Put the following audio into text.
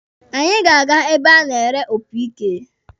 Anyị ga-aga ebe a na-ere tụrọmpeti.